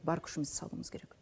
бар күшімізді салуымыз керек